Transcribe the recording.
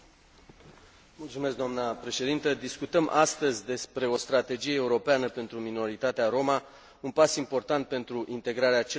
Discutăm astăzi despre o strategie europeană pentru minoritatea roma, un pas important pentru integrarea celei mai numeroase minorități din Uniune.